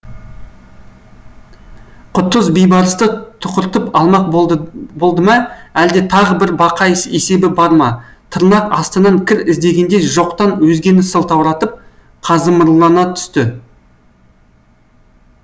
құтыз бейбарысты тұқыртып алмақ болды болды ма әлде тағы бір бақай есебі бар ма тырнақ астынан кір іздегендей жоқтан өзгені сылтауратып қазымырлана түсті